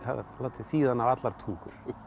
látið þýða hana á allar tungur